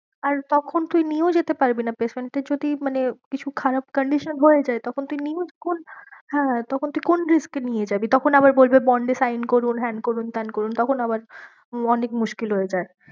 আর তখন তুই নিয়েও যেতে পারবি না patient এর যদি মানে কিছু খারাপ condition হয়ে যায় তখন তুই হ্যাঁ তখন তুই কোন risk এ নিয়ে যাবি তখন আবার বলবে bond এ sign করুন হ্যান করুন ত্যান করুন তখন আবার অনেক মুশকিল হয়ে যায়।